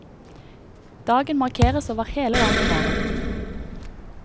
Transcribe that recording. Dagen markeres over hele landet i morgen.